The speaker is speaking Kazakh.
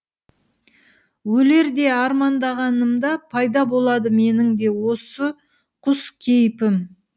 өлердей армандағанымда пайда болады менің де осы құс кейпім